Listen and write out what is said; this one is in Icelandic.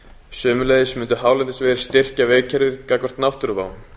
sömuleiðis mundu hálendisvegir styrkja vegakerfið gagnvart náttúruvá